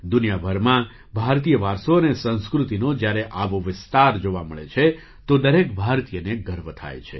દુનિયાભરમાં ભારતીય વારસો અને સંસ્કૃતિનો જ્યારે આવો વિસ્તાર જોવા મળે છે તો દરેક ભારતીયને ગર્વ થાય છે